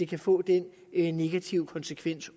kan få den negative konsekvens